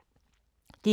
DR1